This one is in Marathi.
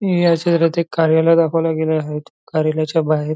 हे या शेहरात एक कार्यालय दाखवल्या गेल आहेत कार्यालयाच्या बाहेर --